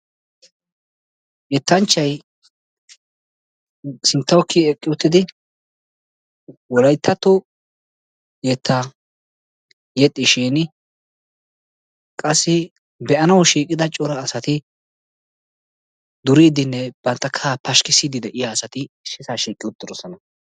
Yettanchchay sinttawu kiy eqqi uttidi wolayttatto yettaa yexxishin qassi be'anawu shiiqida cora asati duriiddinne bantta kahaa pashkkissiddi de'iya asati issisaa shiiqi uttidosona.